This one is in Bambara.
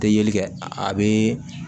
Tɛ yeli kɛ a bɛ